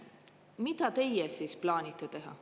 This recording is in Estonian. Mida te plaanite teha?